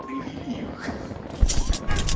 привели их ха ха